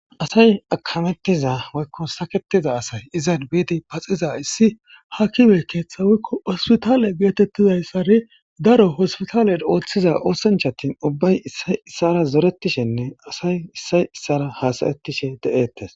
Asay akametiza woyko saketiza asay izan bid paxizays hakime ketha woyko hospitale getetizaysan daro hospitalen othiza oshanchat ubbay issay issara zoretishenne asay issay issara hasa'ashe de'etes.